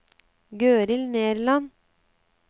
Gøril Nerland